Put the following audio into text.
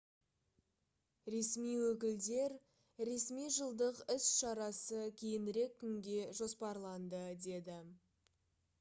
ресми өкілдер ресми жылдық іс-шарасы кейінірек күнге жоспарланды деді